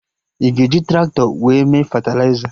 Ị ga-eji Traktọ wee mee fetịliza?